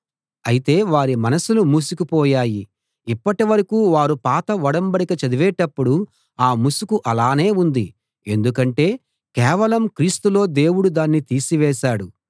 అయితే వారి మనసులు మూసుకు పోయాయి ఇప్పటి వరకూ వారు పాత ఒడంబడిక చదివేటప్పుడు ఆ ముసుకు అలానే ఉంది ఎందుకంటే కేవలం క్రీస్తులో దేవుడు దాన్ని తీసివేశాడు